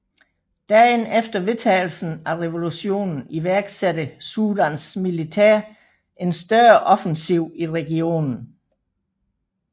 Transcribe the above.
Dagen efter vedtagelsen af resolutionen iværksatte Sudans militær en større offensiv i regionen